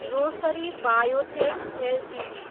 Rossari biotech Ltd